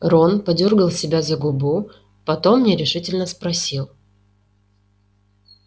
рон подёргал себя за губу потом нерешительно спросил